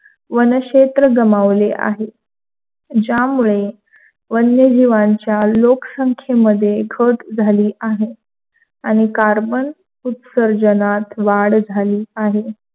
वनशेत्र गमावले आहेत. ज्यामुळे वन्यजीव्याच्या लोकसत्तांमध्ये खत झाली आहे, आणि कार्बन उस्तरजनात वाढ झाली आहे.